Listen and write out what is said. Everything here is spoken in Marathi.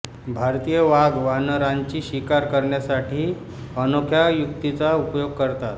भारतीय वाघ वानरांची शिकार करण्यासाठी अनोख्या युक्तीचा उपयोग करतात